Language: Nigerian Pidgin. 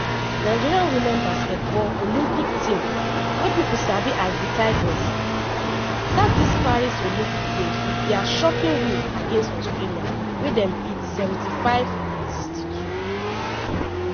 nigeria women basketball olympic team wey pipo sabi as ‘d’tigress; start di paris olympic games wit dia shocking win against australia wey dem beat 75-62.